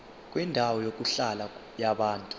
kwendawo yokuhlala yabantu